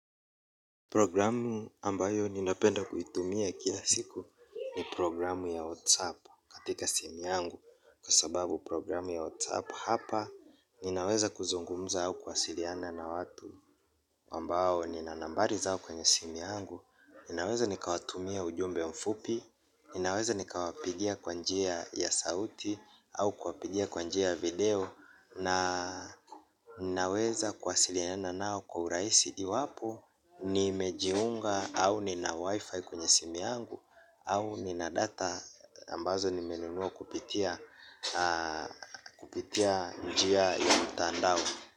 Programu ambayo ninapenda kuitumia kila siku ni programu ya WhatsApp katika simu yangu. Kwa sababu programu ya WhatsApp hapa ninaweza kuzungumza au kuwasiliana na watu ambao nina nambari zao kwenye simu yangu. Ninaweza nikawatumia ujumbe mfupi. Ninaweza nikawapigia kwa njia ya sauti. Au kuwapigia kwa njia ya video. Na ninaweza kuwasiliana nao kwa uraisi. Iwapo nimejiunga au nina wifi kwenye simu yangu. Au nina data ambazo nimenunua kupitia kupitia njia ya mtandao.